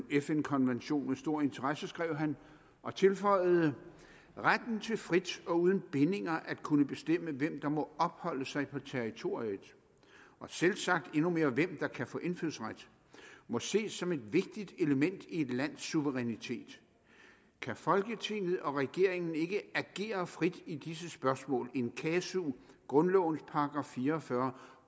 fn konventionen med stor interesse skrev han og tilføjede at retten til frit og uden bindinger at kunne bestemme hvem der må opholde sig på territoriet og selvsagt endnu mere hvem der kan få indfødsret må ses som et vigtigt element i et lands suverænitet kan folketinget og regeringen ikke agere frit i disse spørgsmål in casu grundlovens § fire og fyrre